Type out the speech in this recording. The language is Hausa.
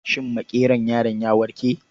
Shin makeron yaron ya warke?